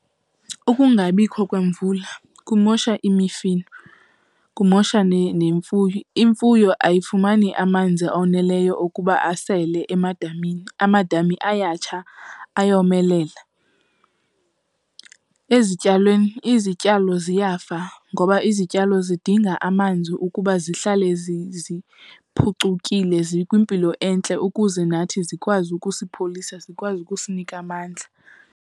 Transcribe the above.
Ukungabikho kwemvula kumosha imifino, kumosha nemfuyo. Imfuyo ayifumani amanzi oneleyo okuba asele emadamini, amadami ayatsha, ayomelela. Ezityalweni, izityalo ziyafa ngoba izityalo zidinga amanzi ukuba zihlale ziphucukile zikwimpilo entle ukuze nathi zikwazi ukusipholisa, zikwazi ukusinika amandla.